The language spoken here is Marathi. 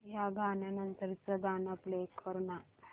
या गाण्या नंतरचं गाणं प्ले कर ना